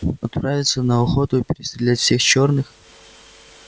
отправиться на охоту и перестрелять всех чёрных